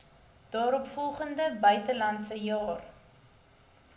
daaropvolgende buitelandse jaar